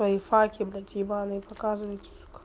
лайфхаки блять ебанный показывает